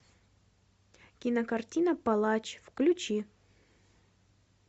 кинокартина палач включи